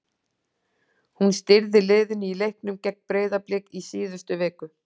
Hún stýrði liðinu í leiknum gegn Breiðablik í síðustu viku.